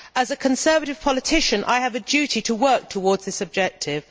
As a Conservative politician I have a duty to work towards this objective.